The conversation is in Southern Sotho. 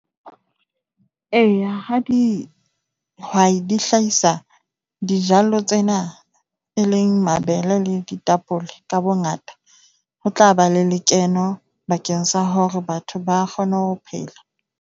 Eya, ha dihwai di hlahisa dijalo tsena e leng mabele le ditapole ka bongata. Ho tla ba le lekeno bakeng sa hore batho ba kgone ho phela.